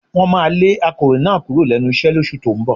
Wọ́n máa lé akọ̀wé náà kúrò lẹ́nu iṣẹ́ lóṣù tó ń bọ̀